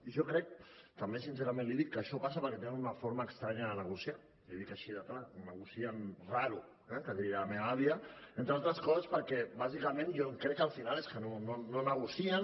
i jo crec també sincerament l’hi dic que això passa perquè tenen una forma estranya de negociar l’hi dic així de clar negocien raro eh que diria la meva àvia entre altres coses perquè bàsicament jo crec que al final és que no negocien